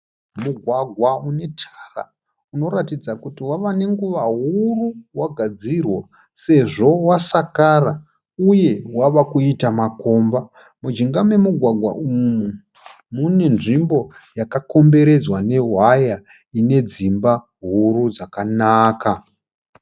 Mugwagwa unetara unoratidza kuti wave nenguva huru wagadzirwa sezvo wasakara uye wava kuita makomba. Mujinga momugwagwa umu mune nzvimbo yakakomberedza nehwaya ine dzimba huru dzakanaka.